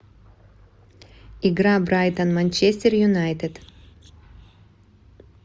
игра брайтон манчестер юнайтед